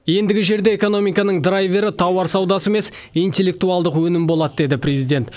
ендігі жерде экономиканың драйвері тауар саудасы емес интеллектуалдық өнім болады деді президент